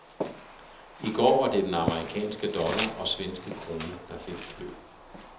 I går var det den amerikanske dollar og svenske krone, der fik klø.